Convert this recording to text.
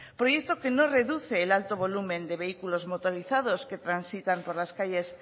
proyecto que no reduce el alto volumen de vehículos motorizados que transitan por las calles